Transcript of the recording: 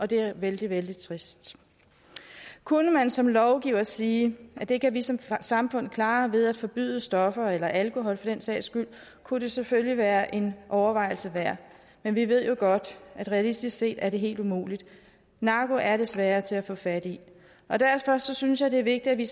det er vældig vældig trist kunne man som lovgiver sige at det kan vi som samfund klare ved at forbyde stoffer eller alkohol for den sags skyld kunne det selvfølgelig være en overvejelse værd men vi ved jo godt at det realistisk set er helt umuligt narko er desværre til at få fat i og derfor synes jeg det er vigtigt at vi